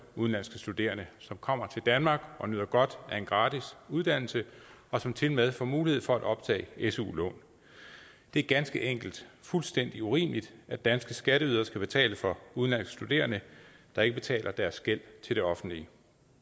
udenlandske studerende som kommer til danmark og nyder godt af en gratis uddannelse og som tilmed får mulighed for at optage su lån det er ganske enkelt fuldstændig urimeligt at danske skatteydere skal betale for udenlandske studerende der ikke betaler deres gæld til det offentlige